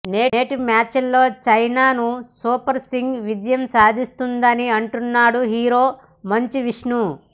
నేటి మ్యాచ్లో Chennai super kings విజయం సాధిస్తుందని అంటున్నాడు హీరో మంచు విష్ణు